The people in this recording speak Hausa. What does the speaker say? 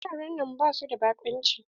Wuraren nan basu da baƙunci.